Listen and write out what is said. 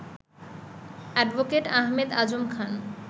advocate Ahmed Azam Khan